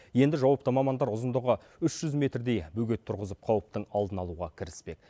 енді жауапты мамандар ұзындығы үш жүз метрдей бөгет тұрғызып қауіптің алдын алуға кіріспек